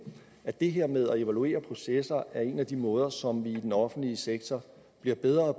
at det her med at evaluere processer er en af de måder som vi i den offentlige sektor bliver bedre